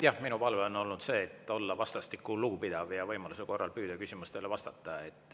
Jah, minu palve on olla vastastikku lugupidav ja võimaluse korral püüda küsimustele vastata.